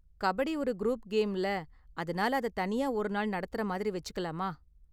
கபடி ஒரு குரூப் கேம்ல, அதனால அதை தனியா ஒரு நாள் நடத்துற மாதிரி வெச்சுக்கலாமா?